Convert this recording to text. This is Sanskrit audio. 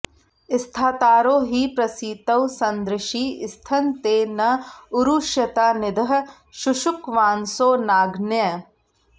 स्थातारो हि प्रसितौ संदृशि स्थन ते न उरुष्यता निदः शुशुक्वांसो नाग्नयः